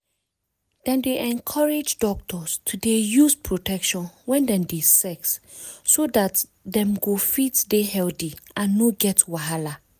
dem dey encourage doctors to dey use protection wen dem dey sex so dat dem go fit dey healthy and no get wahala.